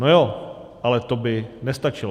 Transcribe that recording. No jo, ale to by nestačilo.